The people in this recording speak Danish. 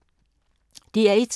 DR1